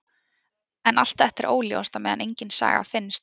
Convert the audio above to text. En allt er þetta óljóst á meðan engin saga finnst.